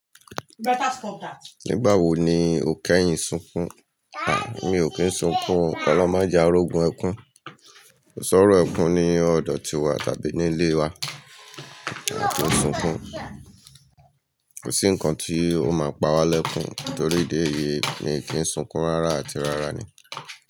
Nígbà wo ni o kẹ́yìn sunkún? A! Mí o kín sunkún o. Olohun ma je arógun ẹkún, kòṣòrò ẹkún ní ọ̀dọ̀ tiwa tàbí ní ilé wa, a kí n sunkún. Kò sí nǹkan tí ó máa pa wa lẹ́kún torí idi eyi mi kí n sunkún rárá àti rárá ni.